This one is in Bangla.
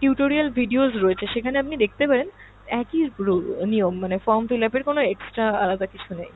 tutorial videos রয়েছে সেখানে আপনি দেখতে পারেন একই rule নিয়ম মানে form fill up এর কোন extra আলাদা কিছু নেই।